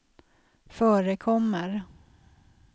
förekommer